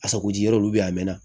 Asako ji yɔrɔ olu bɛ yen a mɛn na